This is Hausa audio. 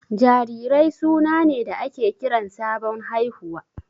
Jarirai suna ne da ake kiran sabon haihuwa.